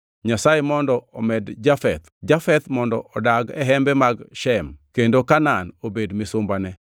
Nyasaye mondo omed Jafeth; Jafeth mondo odag e hembe mag Shem, kendo Kanaan obed misumbane.”